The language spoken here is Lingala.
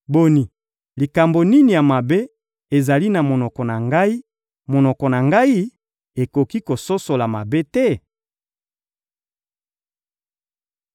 Boni, likambo nini ya mabe ezali na monoko na ngai; monoko na ngai ekoki kososola mabe te?